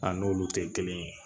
A n'olu tɛ kelen ye